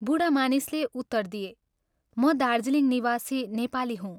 बूढा मानिसले उत्तर दिए "म दार्जीलिङ निवासी नेपाली हूँ।